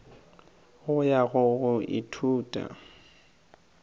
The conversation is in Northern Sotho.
go ya go go ithuta